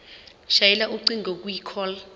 shayela ucingo kwicall